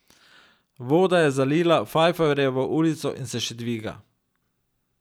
Voda je zalila Fajfarjevo ulico in se še dviga.